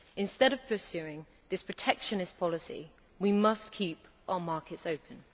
Instead of pursuing this protectionist policy, we must keep our markets open.